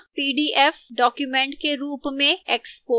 pdf document के रूप में export करना